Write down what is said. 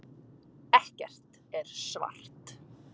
Ekkert er svart.